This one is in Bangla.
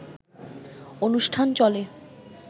অনুষ্ঠান চলে